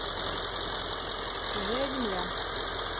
чужая земля